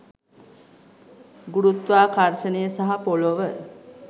ගුරුත්වාකර්ශනය සහ පොලොව